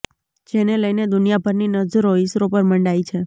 જેને લઈને દુનિયાભરની નજરો ઈસરો પર મંડાઈ છે